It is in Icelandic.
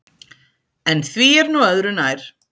En því er nú öðru nær.